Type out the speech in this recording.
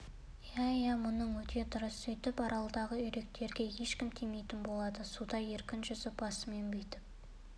иә иә мұның өте дұрыс сөйтіп аралдағы үйректерге ешкім тимейтін болады суда еркін жүзіп басымен бүйтіп